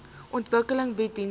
ontwikkeling bied dienste